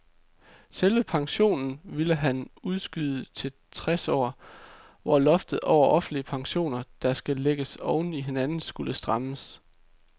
Selve pensionen ville han udskyde til tres år, hvor loftet over offentlige pensioner, der kan lægges oven i hinanden, skulle strammes.